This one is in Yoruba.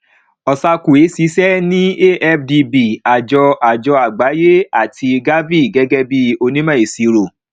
osakwe ṣiṣẹ ní afdb àjọ àjọ àgbáyé àti gavi gẹgẹ bí onímọ ìsirò